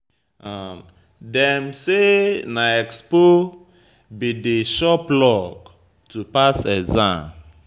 Dem say na expo be be di sure plug to pass exam.